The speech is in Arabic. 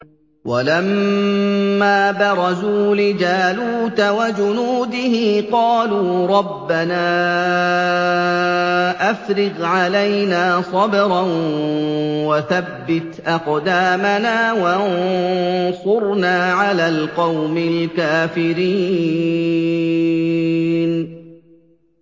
وَلَمَّا بَرَزُوا لِجَالُوتَ وَجُنُودِهِ قَالُوا رَبَّنَا أَفْرِغْ عَلَيْنَا صَبْرًا وَثَبِّتْ أَقْدَامَنَا وَانصُرْنَا عَلَى الْقَوْمِ الْكَافِرِينَ